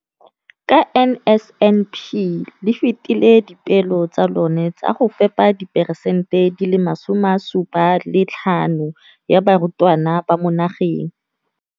Ka NSNP le fetile dipeelo tsa lona tsa go fepa 75 percent ya barutwana ba mo nageng.